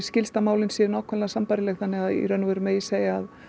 skilst að málin séu nákvæmlega sambærileg þannig í raun og veru megi segja